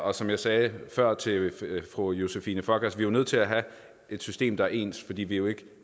og som jeg sagde før til fru josephine fock er vi nødt til at have et system der er ens fordi vi jo ikke